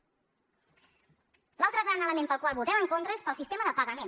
l’altre gran element pel qual hi votem en contra és pel sistema de pagament